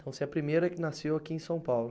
Então você é a primeira que nasceu aqui em São Paulo.